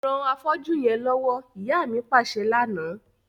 Ran afọ́jú yẹn lọwọ, ìyá mi paṣẹ lana.